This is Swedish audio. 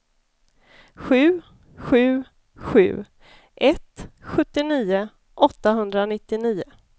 sju sju sju ett sjuttionio åttahundranittionio